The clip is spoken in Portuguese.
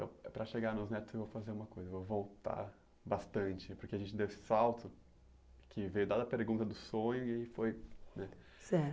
Então, para chegar nos netos, eu vou fazer uma coisa, eu vou voltar bastante, porque a gente deu esse salto, que veio dada a pergunta do sonho e foi, né? Certo